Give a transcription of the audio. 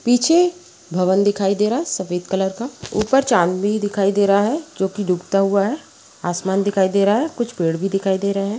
पीछे भवन दिखाई दे रहा है सफेद कलर का ऊपर चाँद भी दिखाई दे रहा है जोकि डूबता हुआ है। आसमान दिखाई दे रहा है कुछ पेड़ भी दिखाई दे रहे है।